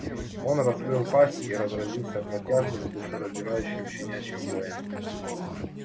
он раскрыл пасть и разразился протяжным душераздирающим щенячьим воем